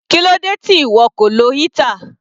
Kílódé tí ìwọ kò lo heater?